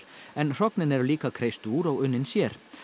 en hrognin eru líka kreist úr og unnin sér